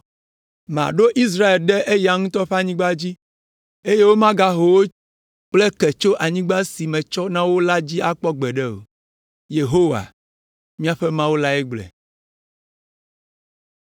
Maɖo Israel ɖe eya ŋutɔ ƒe anyigba dzi, eye womagaho wo kple ke tso anyigba si metsɔ na wo la dzi akpɔ gbeɖe o.” Yehowa, miaƒe Mawu lae gblɔe.